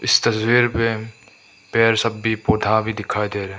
इस तस्वीर में पेड़ सब भी पौधा भी दिखाई दे रहा है।